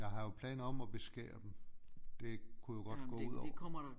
Jeg har jo planer om at beskære dem det kunne jo godt gå ud over